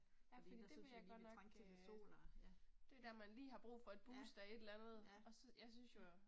Fordi der syntes vi lige vi trængte til lidt sol og ja, ja, ja, ja